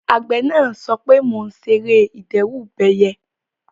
Àgbẹ̀ náà sọ pé "mo ṣe ère ìdẹ́rùbẹyẹ"